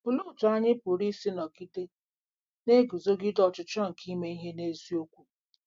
Olee otú anyị pụrụ isi nọgide na-eguzogide ọchịchọ nke ime ihe n'eziokwu?